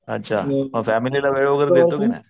अच्छा मग फॅमिली ला वेळ वैगरे देतो कि नाही.